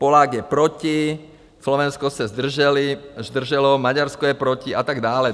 Polák je proti, Slovensko se zdrželo, Maďarsko je proti a tak dále.